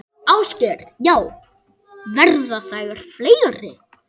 Ásgeir: Já, verða þær fleiri?